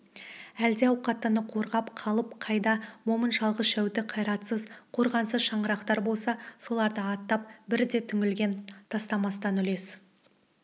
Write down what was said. әлді ауқаттыны қорғап қалып қайда момын жалғыз-жәутік қайратсыз қорғансыз шаңырақтар болса соларды атап бір де түңлігін тастамастан үлес